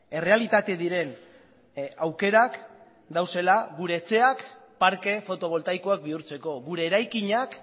errealitate diren aukerak daudela gure etxeak parke fotoboltaikoak bihurtzeko gure eraikinak